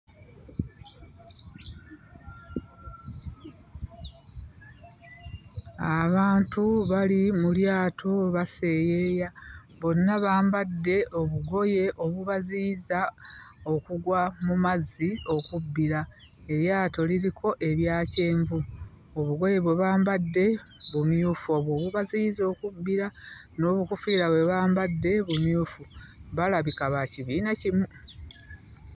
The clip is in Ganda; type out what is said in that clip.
Abantu bali mu lyato baseeyeeya. Bonna bambadde obugoye obubaziyiza okugwa mu mazzi okubbira. Eryato liriko ebya kyenvu. Obugoye bwe bambadde bumyufu, obwo obubaziyiza okubbira n'obukoofiira bwe bambadde bumyufu. Balabika ba kibiina kimu!